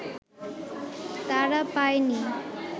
তারা পায়নি